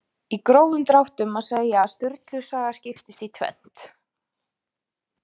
Í grófum dráttum má segja að Sturlu saga skiptist í tvennt.